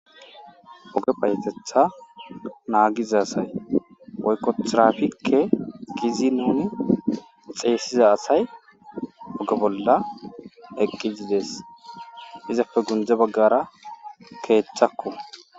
oge payetetha naagiza asay oykotrafikke gizi nuni xeessiza asay oge bolla eqqizides izapfe gunje baggara keethchakku